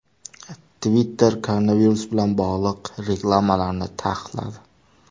Twitter koronavirus bilan bog‘liq reklamalarni taqiqladi.